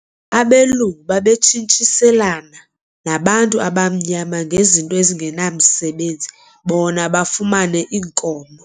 Abelungu babetshintshiselana nabantu abamnyama ngezinto ezingenamsebenzi bona bafumane iinkomo.